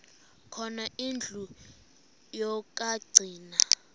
khona indlu yokagcina